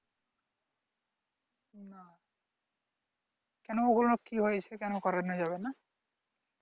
না কোনো ওগুলো কি হয়েছে কেন করানো যাবেনা